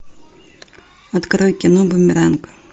открой кино бумеранг